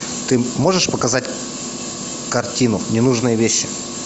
ты можешь показать картину ненужные вещи